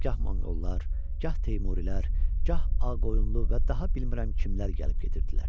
Gah monqollar, gah Teymurilər, gah Ağqoyunlu və daha bilmirəm kimlər gəlib gedirdilər.